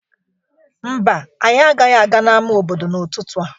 Mba, anyị agaghị aga n'ama obodo n'ụtụtụ a.